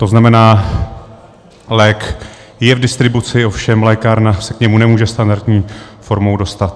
To znamená, lék je v distribuci, ovšem lékárna se k němu nemůže standardní formou dostat.